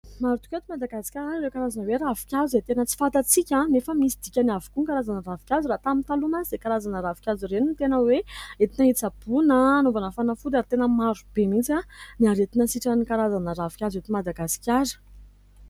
Maro tokoa eto madagaskara ireo karazana hoe ravinkazo izay tena tsy fantatsika nefa misy dikany avokoa ny karazana ravinkazo raha tamin'ny taloha mantsy izay karazana ravinkazo ireny ny tena hoe entina hitsaboana, hanaovana fanafody ary tena marobe mihintsy ny aretina sitran'ny karazana ravinkazo ety Madagasikara.